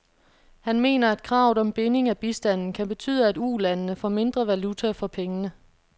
Han mener, at kravet om binding af bistanden kan betyde, at ulandene får mindre valuta for pengene.